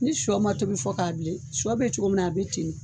Ni sɔ ma tobi fɔ k'a bilen, sɔ bɛ cogo min na,a bɛ ten.